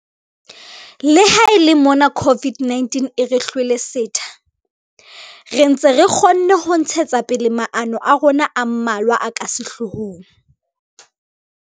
Le ha e le mona COVID-19 e re hlwele setha, re ntse re kgonne ho ntshetsa pele maano a rona a mmalwa a ka sehlohong.